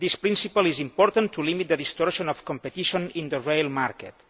This principle is important in order to limit the distortion of competition in the rail market.